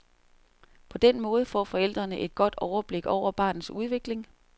På den måde får forældrene et godt overblik over barnets udvikling.